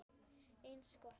Eins gott.